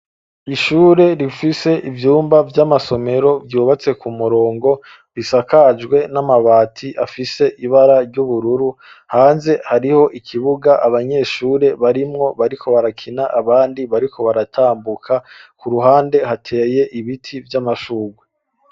Ishure rifise ivyumba vy'amasomero vyubatse ku murongo bisakajwe n'amabati afise ibara ry'ubururu ,hanze hariho ikibuga abanyeshure barimwo bariko barakina ,abandi bariko baratambuka, ku ruhande hateye ibiti vy'amashungwe.